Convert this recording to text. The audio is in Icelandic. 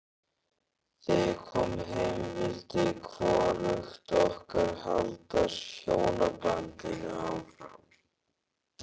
Þegar ég kom heim vildi hvorugt okkar halda hjónabandinu áfram.